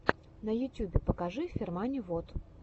на ютюбе покажи фермани вот